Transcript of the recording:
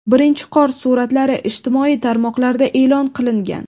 Birinchi qor suratlari ijtimoiy tarmoqlarda e’lon qilingan.